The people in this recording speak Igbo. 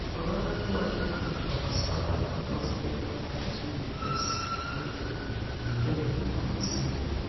Buhari enweghi nkụja gbasara nkatọ sitere n'aka ndị US, UK -Femi Adesina.